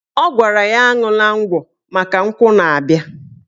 Ọ gwara ya aṅwụla ngwọ maka nkwụ na-abịa